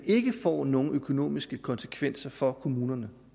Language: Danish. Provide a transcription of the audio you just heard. ikke får nogen økonomiske konsekvenser for kommunerne